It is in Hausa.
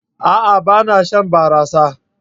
A'a! Ba na shan barasa.